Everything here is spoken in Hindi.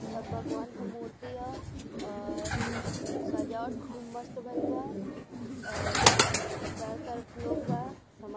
सब भगवान के मूर्ति ह | अ सजावट खूब मस्त भईल बा और चारो तरफ लोग बा --